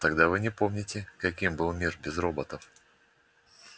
тогда вы не помните каким был мир без роботов